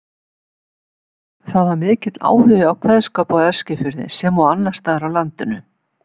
Það var mikill áhugi á kveðskap á Eskifirði sem og annars staðar á landinu.